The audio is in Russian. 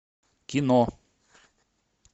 кино